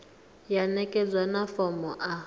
ya ṋekedzwa na fomo a